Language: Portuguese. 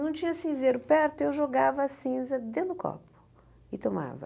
Não tinha cinzeiro perto, eu jogava a cinza dentro do copo e tomava.